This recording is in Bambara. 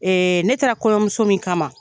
Ne taara kɔɲɔmuso min kama